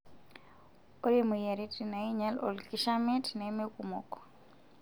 Ore moyiaritin nainyal olkishamiet nemekumok.